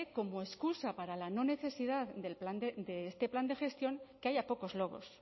como excusa para la no necesidad de este plan de gestión que haya pocos lobos